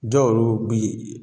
Dɔw yerew bi